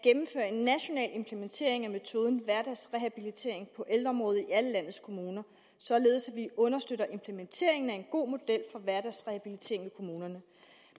en national implementering af metoden hverdagsrehabilitering på ældreområdet i alle landets kommuner således at vi understøtter implementeringen af en god model for hverdagsrehabilitering i kommunerne